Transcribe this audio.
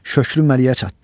Şöklü məliyə çatdı.